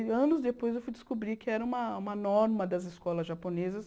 E anos depois eu fui descobrir que era uma uma norma das escolas japonesas